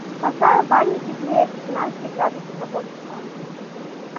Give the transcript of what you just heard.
поставь в бане теплее до семнадцати градусов на полчаса